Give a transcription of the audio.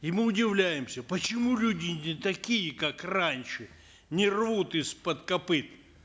и мы удивляемся почему люди не такие как раньше не рвут из под копыт